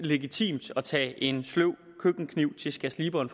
legitimt at tage en sløv køkkenkniv til skærsliberen